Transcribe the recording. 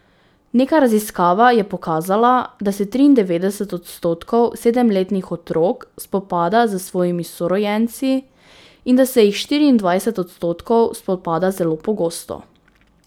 Neka raziskava je pokazala, da se triindevetdeset odstotkov sedemletnih otrok spopada s svojimi sorojenci in da se jih štiriindvajset odstotkov spopada zelo pogosto.